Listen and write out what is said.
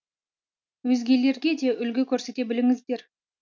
өзгелерге де үлгі көрсете біліңіздер